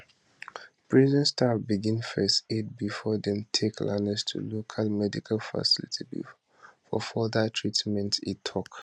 prison staff begin first aid bifor dem take lanez to a local medical facility for further treatment e tok